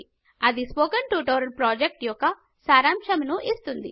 అది spoken tutorial project యొక్క సారాంశమును ఇస్తుంది